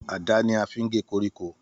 Àdá ni a fi ń gé koríko